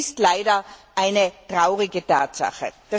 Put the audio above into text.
Das ist leider eine traurige Tatsache!